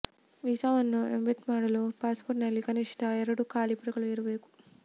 ವೀಸಾವನ್ನು embed ಮಾಡಲು ಪಾಸ್ಪೋರ್ಟ್ನಲ್ಲಿ ಕನಿಷ್ಠ ಎರಡು ಖಾಲಿ ಪುಟಗಳು ಇರಬೇಕು